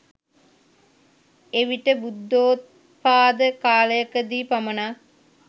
එවිට බුද්ධොත්පාද කාලයකදී පමණක්